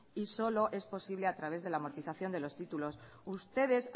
y solo es posible a través de la amortización de los títulos ustedes